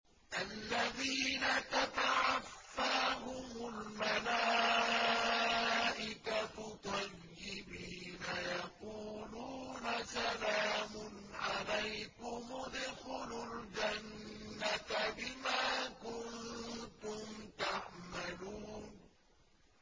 الَّذِينَ تَتَوَفَّاهُمُ الْمَلَائِكَةُ طَيِّبِينَ ۙ يَقُولُونَ سَلَامٌ عَلَيْكُمُ ادْخُلُوا الْجَنَّةَ بِمَا كُنتُمْ تَعْمَلُونَ